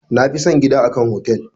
Na fi son gida a kan hotel.